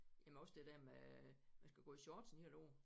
Jamen også det der med man skal gå i shorts en hel år